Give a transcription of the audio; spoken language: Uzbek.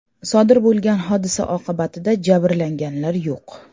Sodir bo‘lgan hodisa oqibatida jabrlanganlar yo‘q.